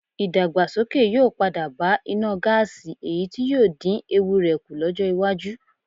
Ìdàgbàsókè yóò padà bá iná gáàsì èyí tí yóò dín ewu rẹ̀ kù lọ́jọ́ iwájú